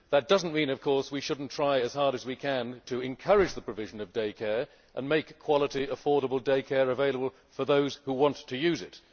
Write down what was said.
That does not mean, of course, that we should not try as hard as we can to encourage the provision of day care and make quality day care available for those who want to use it.